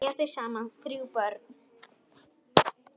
Eiga þau saman þrjú börn.